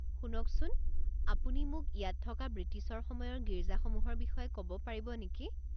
শুনকচোন, আপুনি মোক ইয়াত থকা বৃটিছৰ সময়ৰ গীৰ্জাসমূহৰ বিষয়ে ক'ব পাৰিব নেকি?